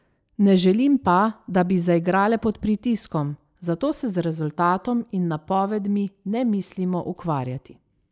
Ne želim pa, da bi zaigrale pod pritiskom, zato se z rezultatom in napovedmi ne mislimo ukvarjati.